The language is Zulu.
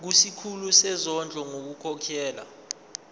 kusikhulu sezondlo ngokukhokhela